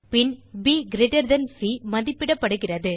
பின் PC மதிப்பிடப்படுகிறது